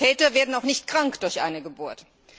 Väter werden auch nicht krank durch eine Geburt.